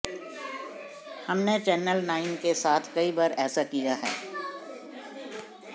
हमने channel nine के साथ कई बार ऐसा किया है